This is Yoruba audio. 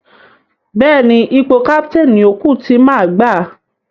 Bẹ́ẹ̀ni, ipò káptéénì ni ó kú tí má gbà.